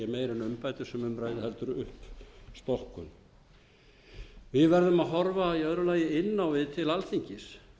um ræðir heldur en uppstokkun við verðum að horfa í öðru lagi inn á við til alþingis